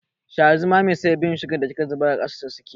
Sha zumami sai bin sugan da kika zubar a ƙasa suke yi.